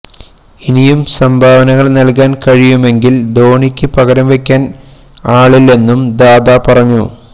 ഇനിയും സംഭാവനകള് നല്കാന് കഴിയുമെങ്കില് ധോണിക്ക് പകരവെക്കാന് ആളില്ലെന്നും ദാദ പറഞ്ഞു